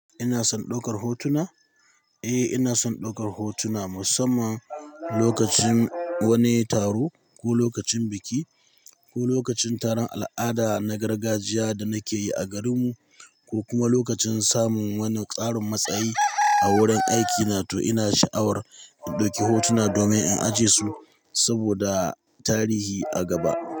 Ina son ɗaukar hotuna? Eh, ina son ɗaukar hotuna musamman lokacin wani taro ko lokacin biki ko lokacin taron al'ada na gargajiya da nake yi a garinmu ko kuma lokacin samun wani tsarin matsayi a wurin aikina to ina sha'awar in ɗauki hotuna domin in ajiye su saboda tarihi a gaba.